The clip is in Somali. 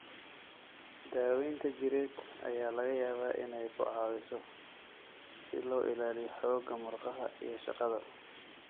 Daaweynta jireed ayaa laga yaabaa inay ku caawiso si loo ilaaliyo xoogga murqaha iyo shaqada.